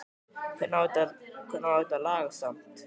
Hvernig á þetta að lagast samt??